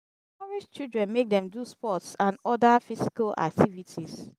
encourage children make dem do sports and oda physical activities